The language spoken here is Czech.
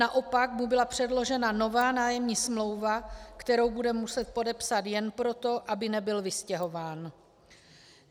Naopak mu byla předložena nová nájemní smlouva, kterou bude muset podepsat jen proto, aby nebyl vystěhován.